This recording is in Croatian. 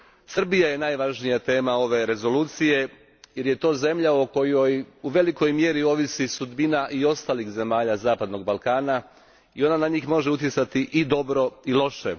Srbija je najvažnija tema ove Rezolucije, jer je to zemlja o kojoj u velikoj mjeri ovisi sudbina i ostalih zemalja zapadnog Balkana i ona na njih može utjecati i dobro i loše.